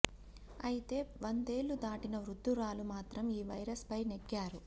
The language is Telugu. అయితే వందేళ్లు దాటిన వృద్ధురాలు మాత్రం ఈ వైరస్ పై నెగ్గారు